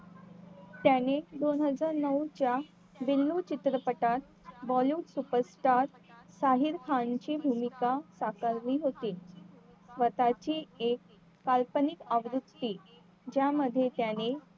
त्याने दोन हजार नऊ च्या बिल्लू चित्रपटात bollywood superstar साहिल खान भूमिका साकारली होती स्वताची एक काल्पनिक आवृत्ती ज्यामध्ये त्याने